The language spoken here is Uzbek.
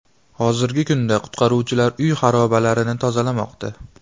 Hozirgi kunda qutqaruvchilar uy xarobalarini tozalamoqda.